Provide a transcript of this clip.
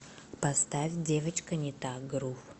поставь девочка не та грув